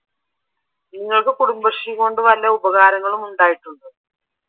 നിങ്ങൾക്ക് കുടുംബശ്രീ കൊണ്ട് വല്ല ഉപകാരങ്ങളും ഉണ്ടായിട്ടുണ്ടോ?